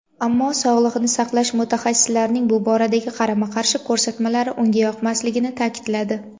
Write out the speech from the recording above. ammo sog‘liqni saqlash mutaxassislarining bu boradagi qarama-qarshi ko‘rsatmalari unga yoqmasligini ta’kidladi.